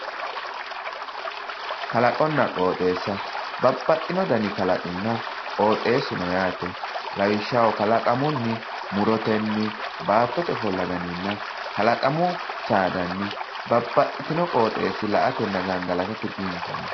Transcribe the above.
Kalaqonna qoxxeessa, babbaxino danni kalaqinna qoxxeesu no yaate lawishshaho kalaqamunni murotenni baattote ofolla dannina kalaqamu saadanni babbaxxitino qoxxeesa la"atenna gangalattate biinfoho.